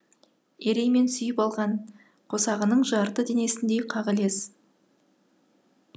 ереймен сүйіп алған қосағының жарты денесіндей қағілез